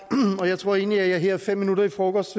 jeg tror egentlig at jeg her fem minutter i frokost